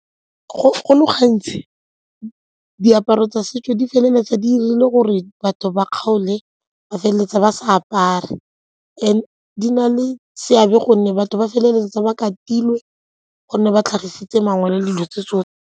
Go le gantsi diaparo tsa setso di feleletsa di dirile gore batho ba kgaole ba feleletsa ba sa apare and di na le seabe gonne batho ba feleletsa ba ka katilwe gonne ba tlhagisitse mangwele dilo tse tsotlhe.